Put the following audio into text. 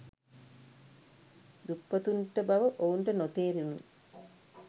දුප්පතුන්ට බව ඔවුන්ට නොතේරුනි.